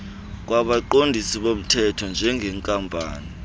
kwabaqondisi bomthetho njengenkampani